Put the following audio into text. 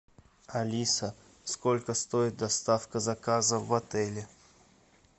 алиса сколько стоит доставка заказа в отеле